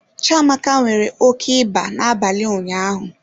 Chiamaka nwere oke ịba n'abalị ụnyaahụ.